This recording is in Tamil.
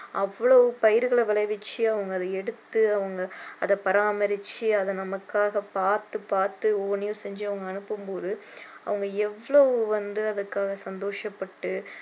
அவ்ளோ பயிர்களை விளைவிச்சு அவங்க அதை எடுத்து அவங்க அதை பராமரிச்சி அதை நமக்காக பார்த்து பார்த்து ஒவ்வொண்ணையும் செஞ்சி அவங்க அனுப்பும் போது அவங்க எவ்வளோ வந்து அதுக்காக சந்தோஷப்பட்டு